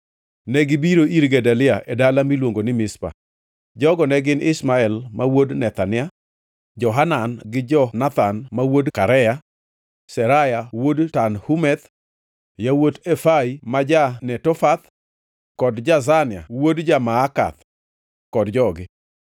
negibiro ir Gedalia e dala miluongo ni Mizpa. Jogo ne gin Ishmael wuod Nethania, Johanan gi Jonathan ma yawuot Karea, Seraya wuod Tanhumeth, yawuot Efai ma ja-Netofath, kod Jazania wuod ja-Maakath, kod jogi.